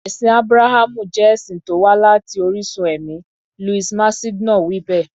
Ẹ̀sìn Ábúráhámù jẹ́ ẹ̀sìn tó wá láti orísun ẹ̀mí, Louis Massignon wí bẹ́ẹ̀.